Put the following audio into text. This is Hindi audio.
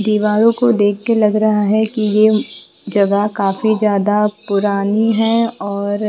दीवारों को देख के लग रहा हैकि ये जगह काफी ज्यादा पुरानी है और--